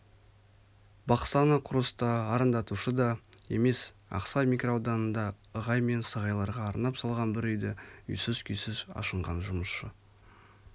бақса нақұрыс та арандатушы да емес ақсай микроауданында ығай мен сығайларға арнап салған бір үйді үйсіз-күйсіз ашынған жұмысшы